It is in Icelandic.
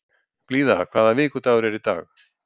Blíða, hvaða vikudagur er í dag?